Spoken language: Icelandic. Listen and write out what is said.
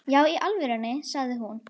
Já í alvöru, sagði hún.